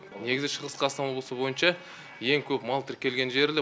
негізі шығыс қазақстан облысы бойынша ең көп мал тіркелген жері де